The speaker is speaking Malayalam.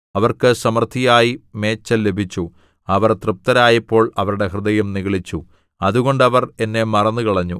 അവർക്ക് സമൃദ്ധിയായി മേച്ചൽ ലഭിച്ചു അവർ തൃപ്തരായപ്പോൾ അവരുടെ ഹൃദയം നിഗളിച്ചു അതുകൊണ്ട് അവർ എന്നെ മറന്നുകളഞ്ഞു